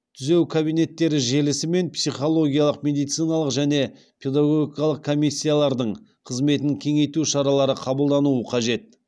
түзеу кабинеттері желісі мен психологиялық медициналық және педагогикалық комиссиялардың қызметін кеңейту шаралары қабылдануы қажет